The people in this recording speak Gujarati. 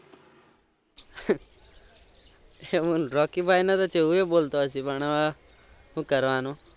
રોકી ભાઈ એ બોલતો હશે પણ હવે શું કરવાનું